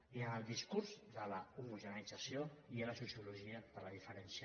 i en el discurs de l’homogeneïtzació hi ha la sociologia de la diferència